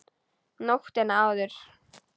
Nóttina áður!